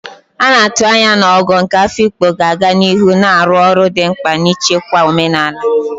A na-atụ anya na Ogo nke Afikpo ga-aga n'ihu na-arụ ọrụ dị mkpa n'ichekwa omenala.